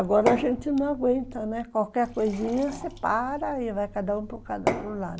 Agora a gente não aguenta, né, qualquer coisinha você para e vai cada um para o lado.